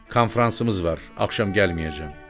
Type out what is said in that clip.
Konfransımız var, axşam gəlməyəcəm.